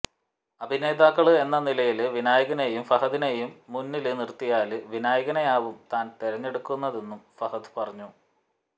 അഭിനേതാക്കള് എന്ന നിലയില് വിനായകനെയും ഫഹദിനെയും മുന്നില് നിര്ത്തിയാല് വിനായകനെയാവും താന് തിരഞ്ഞെടുക്കുയെന്നും ഫഹദ് പറഞ്ഞു